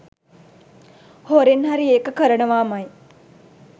හොරෙන් හරි ඒක කරනවාමයි.